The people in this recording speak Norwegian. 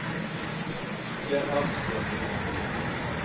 Gerhard Strømmen